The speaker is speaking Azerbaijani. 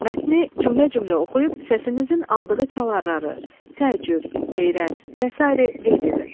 Mətni cümlə-cümlə oxuyub səsinizin aldığı çalararı, təəccüb, heyrət və sair qeyd edin.